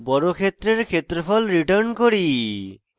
বর্গক্ষেত্রের ক্ষেত্রফল return করি